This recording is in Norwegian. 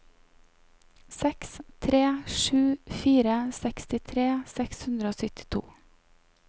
seks tre sju fire sekstitre seks hundre og syttito